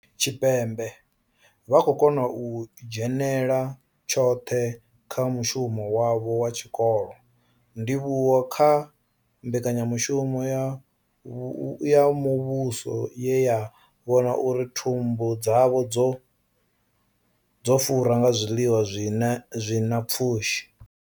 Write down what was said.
Tshipembe vha khou kona u dzhenela tshoṱhe kha mushumo wavho wa tshikolo, ndivhuwo kha mbekanya mushumo ya muvhuso ye ya vhona uri thumbu dzavho dzo fura nga zwiḽiwa zwi na pfushi.